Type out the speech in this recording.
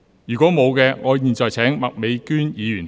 如果沒有，我現在請麥美娟議員發言。